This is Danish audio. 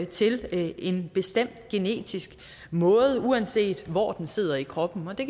til en bestemt genetisk måde uanset hvor den sidder i kroppen og det